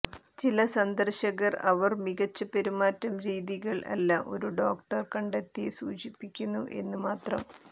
ചില സന്ദർശകർ അവർ മികച്ച പെരുമാറ്റം രീതികൾ അല്ല ഒരു ഡോക്ടർ കണ്ടെത്തി സൂചിപ്പിക്കുന്നു എന്നു മാത്രം